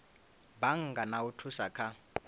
bannga na u thusa kha